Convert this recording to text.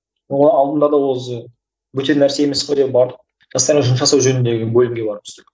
оның алдында да өзі бөтен нәрсе емес қой деп бардық жастармен жұмыс жасау жөніндегі бөлімге барып түстік